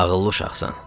Ağıllı uşaqsan.